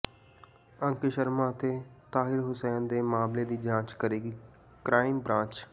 ਅੰਕਿਤ ਸ਼ਰਮਾ ਅਤੇ ਤਾਹਿਰ ਹੁਸੈਨ ਦੇ ਮਾਮਲੇ ਦੀ ਜਾਂਚ ਕਰੇਗੀ ਕ੍ਰਾਈਮ ਬ੍ਰਾਂਚ